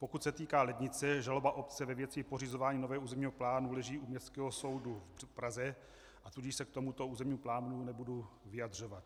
Pokud se týká Lednice, žaloba obce ve věci pořizování nového územního plánu leží u Městského soudu v Praze, a tudíž se k tomuto územnímu plánu nebudu vyjadřovat.